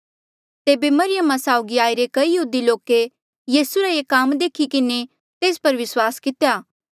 तेबे मरियमा साउगी आईरे कई यहूदी लोके यीसू रा ये काम देखी किन्हें तेस पर विस्वास कितेया